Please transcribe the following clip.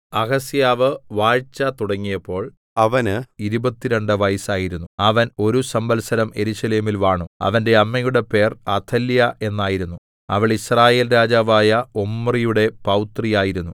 അഹസ്യാവ് വാഴ്ച തുടങ്ങിയപ്പോൾ അവന് ഇരുപത്തിരണ്ടു വയസ്സായിരുന്നു അവൻ ഒരു സംവത്സരം യെരൂശലേമിൽ വാണു അവന്റെ അമ്മയുടെ പേർ അഥല്യാ എന്നായിരുന്നു അവൾ യിസ്രായേൽ രാജാവായ ഒമ്രിയുടെ പൌത്രി ആയിരുന്നു